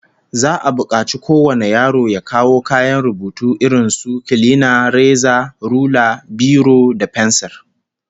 Za'a bukaci kowane yaro ya kawo kayan rubutu irin su kilina, reza, rula, biro da fensir